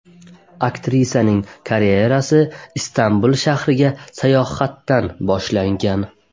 Aktrisaning karyerasi Istanbul shahriga sayohatdan boshlangan.